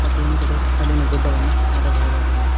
ಮತ್ತು ಹಿಂದಗಡೆ ಕಲ್ಲಿನ ಗುಡ್ಡವನ್ನು ನೋಡಬಹುದಾಗಿದೆ.